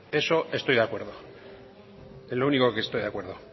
eso estoy de acuerdo en lo único que estoy de acuerdo